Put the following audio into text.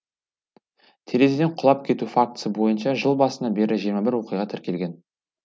терезеден құлап кету фактісі бойынша жыл басынан бері жиырма бір оқиға тіркелген